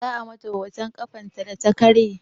Za a mata hoton ƙafarta data karye